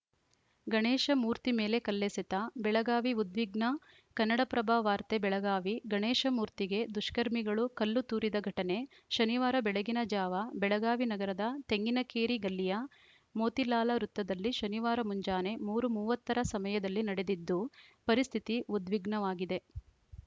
ಗಣೇಶ ಮೂರ್ತಿ ಮೇಲೆ ಕಲ್ಲೆಸೆತ ಬೆಳಗಾವಿ ಉದ್ವಿಗ್ನ ಕನ್ನಡಪ್ರಭ ವಾರ್ತೆ ಬೆಳಗಾವಿ ಗಣೇಶ ಮೂರ್ತಿಗೆ ದುಷ್ಕರ್ಮಿಗಳು ಕಲ್ಲು ತೂರಿದ ಘಟನೆ ಶನಿವಾರ ಬೆಳಗಿನ ಜಾವ ಬೆಳಗಾವಿ ನಗರದ ತೆಂಗಿನಕೇರಿ ಗಲ್ಲಿಯ ಮೋತಿಲಾಲ ವೃತ್ತದಲ್ಲಿ ಶನಿವಾರ ಮುಂಜಾನೆ ಮೂರು ಮೂವತ್ತ ರ ಸಮಯದಲ್ಲಿ ನಡೆದಿದ್ದು ಪರಿಸ್ಥಿತಿ ಉದ್ವಿಗ್ನವಾಗಿದೆ